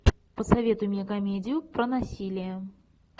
посоветуй мне комедию про насилие